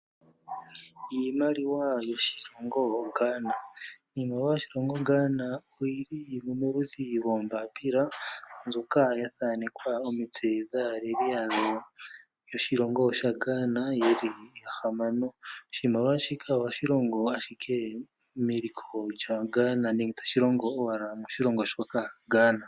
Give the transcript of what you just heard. Iimaliwa yoshilongo Ghana Iimaliwa yoshilongo Ghana oyili moludhi loombapila mbyoka ya thaanekwa omitse dhaaleli yawo yoshilongo sha Ghana yeli yahamano. Oshimaliwa shika ohashi longo ashike meliko lyaGhana nenge tashi longo owala moshilongo shoka Ghana.